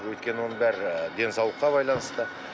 өйткені оның бәрі денсаулыққа байланысты